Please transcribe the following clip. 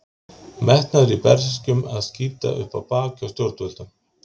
Metnaður í Berserkjum eða skita upp á bak hjá stjórnvöldum?